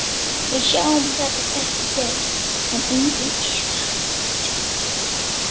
Við sjáum þetta ekki gerast, en enginn efast.